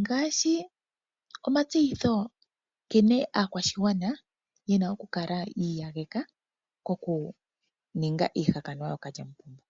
Ngaashi omatseyitho nkene aakwashigwana yena oku kala yi iyageka koku ninga iihakanwa kookalyamupombo.